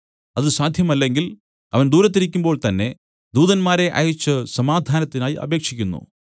അത് സാധ്യമല്ലെങ്കിൽ അവൻ ദൂരത്തിരിക്കുമ്പോൾ തന്നേ ദൂതന്മാരെ അയച്ചു സമാധാനത്തിനായി അപേക്ഷിക്കുന്നു